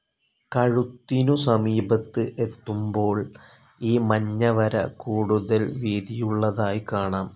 കഴുത്തിനു സമീപത്ത് എത്തുമ്പോൾ ഈ മഞ്ഞ വര കൂടുതൽ വീതിയുള്ളതായി കാണാം.